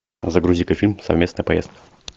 загрузи ка фильм совместная поездка